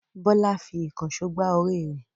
Bọ́lá fi ìkànṣó gbá orí rẹ̀.